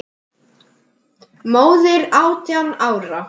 Fnæsir ekki.